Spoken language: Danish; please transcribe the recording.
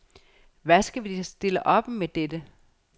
Hvad skal vi da stille op med dette?